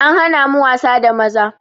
An hana mu wasa da maza